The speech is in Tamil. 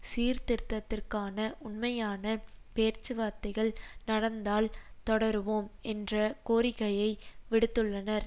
சீர்திருத்தத்திற்கான உண்மையான பேச்சுவார்த்தைகள் நடந்தால் தொடருவோம் என்ற கோரிக்கையை விடுத்துள்ளனர்